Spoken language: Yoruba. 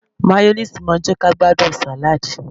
Máyónéèsì má ń jẹ́ kí a gbádùn sàláàdì